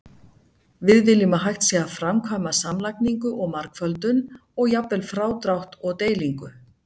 Við viljum að hægt sé að framkvæma samlagningu og margföldun, og jafnvel frádrátt og deilingu.